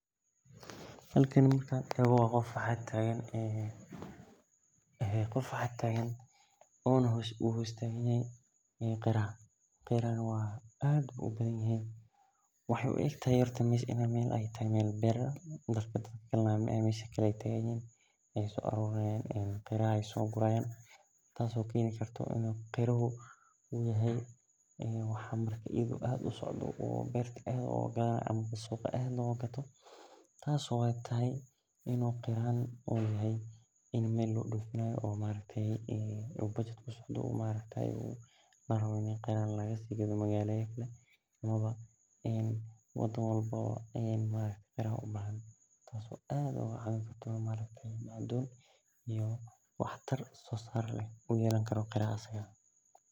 Halkani waxan arki haya in u qof tagn yahay oo beeraha so guri haya suqa aad loga gato oo dadka cafimadkodha ufican amaawa wato waxtar sisar leh ayan ujedha sas ayey hoshan muhiim ogu tahay bulshaada daxdedha.